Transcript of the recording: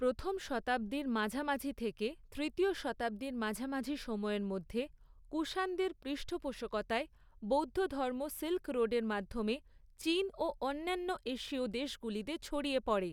প্রথম শতাব্দীর মাঝামাঝি থেকে তৃতীয় শতাব্দীর মাঝামাঝি সময়ের মধ্যে, কুষাণদের পৃষ্ঠপোষকতায় বৌদ্ধধর্ম সিল্ক রোডের মাধ্যমে চীন ও অন্যান্য এশীয় দেশগুলিতে ছড়িয়ে পড়ে।